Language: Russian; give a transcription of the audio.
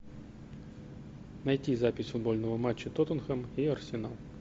найти запись футбольного матча тоттенхэм и арсенал